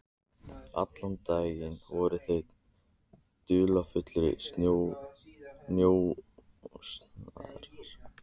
Allan daginn voru þau dularfullir njósnarar.